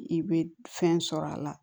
I bɛ fɛn sɔrɔ a la